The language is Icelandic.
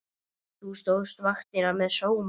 Þú stóðst vaktina með sóma.